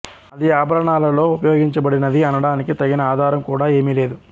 అది ఆభరణాలలో ఉపయోగించబడినది అనడానికి తగిన ఆధారం కూడా ఏమీ లేదు